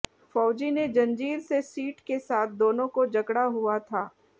फौजी ने जंजीर से सीट के साथ दोनों को जकड़ा हुआ था